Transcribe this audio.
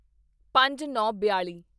ਪੰਜਨੌਂਬਿਆਲੀ